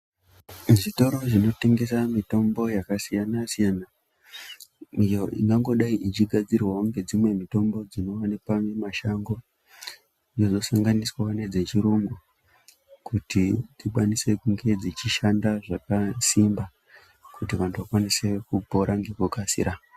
Mu zvitoro zvinotengesa mitombo yaka siyana siyana iyo inongodai ichi gadzirwawo ngedzimwe mitombo dzino wanikwa mu mashango dzinozo sanganiswawo nedze chi rungu kuti dzikwanise kunge dzichi shanda zvakasimba kuti tikwanise kunge dzichi shanda zvakasimba kuti vantu vakwanise kupora ngeku kasira.